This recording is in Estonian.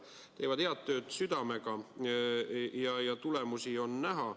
Nad teevad head tööd südamega ja tulemusi on näha.